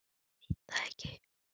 Veit það ekki.